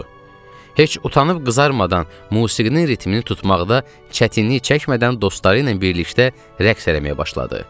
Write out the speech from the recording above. Heç utanıb qızarmadan musiqinin ritmini tutmaqda çətinlik çəkmədən dostları ilə birlikdə rəqs eləməyə başladı.